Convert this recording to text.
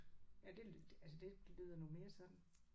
Ja det altså det lyder nu mere sådan